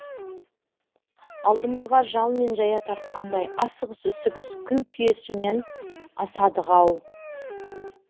алдымызға жал мен жая тартқандай асығыс үсігіс күл күйесімен асадық ау